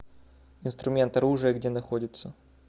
инструмент оружие где находится